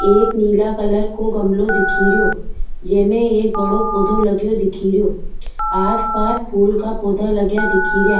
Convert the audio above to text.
एक नीला कलर को गमलो दिख रो जेमे एक पोधो लगो दिख रो आस पास फूल का पौधा लगा दिख रा।